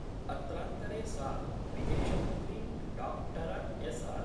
अत्रान्तरे सा विदेशमन्त्री डॉक्टर एस .